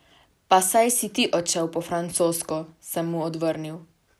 Pa saj si ti odšel po francosko, sem mu odvrnil.